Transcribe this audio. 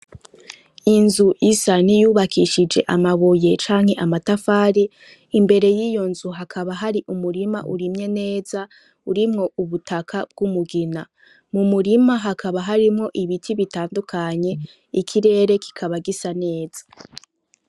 Inzu isa niyubakishije amabuye canke amatafari ,imbere yiyo nzu hakaba hari umurima urimye neza ,urimwo ubutaka bw'umugina, mumurima hakaba harimwo ibiti bitandukanye ikirere kikaba gisa neza.